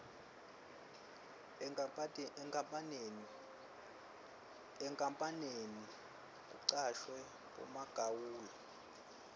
enkapaneni kucashwe bomagawula